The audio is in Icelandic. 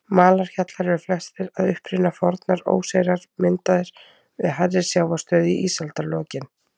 Malarhjallar eru flestir að uppruna fornar óseyrar, myndaðir við hærri sjávarstöðu í ísaldarlokin.